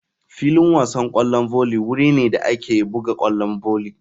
Filin wasan kwallon volley wuri ne da ake buga kwallon volley.